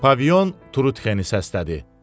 Pavilyon Trutxeni səslədi.